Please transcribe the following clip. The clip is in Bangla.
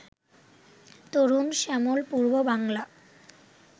তরুণ শ্যামল পূর্ব বাংলা